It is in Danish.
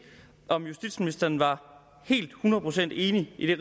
om justitsministeren var helt hundrede procent enig i